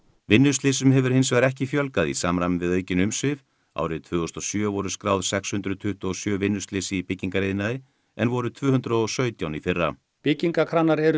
vinnuslysum hefur hins vegar ekki fjölgað í samræmi við aukin umsvif árið tvö þúsund og sjö voru skráð sex hundruð tuttugu og sjö vinnuslys í byggingariðnaði en voru tvö hundruð og sautján í fyrra byggingarkranar eru